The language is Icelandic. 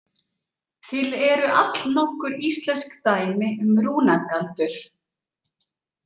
Til eru allnokkur íslensk dæmi um rúnagaldur.